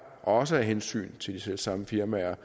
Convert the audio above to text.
også af hensyn til de selv samme firmaer